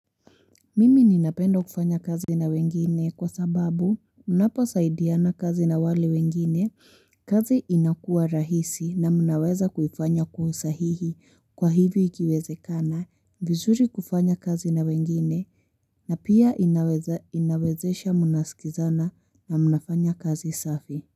Mimi ninapenda kufanya kazi na wengine kwa sababu unaposaidiana kazi na wale wengine kazi inakua rahisi na mnaweza kufanya kwa usahihi kwa hivyo ikiwezekana vizuri kufanya kazi na wengine na pia inawezesha mnaskizana na mnafanya kazi safi.